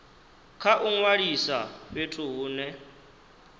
kha u ṅwalisa fhethu hune